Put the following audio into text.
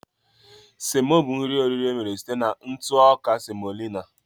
Semo bụ nri onuno emere site na ntụ ọka semolina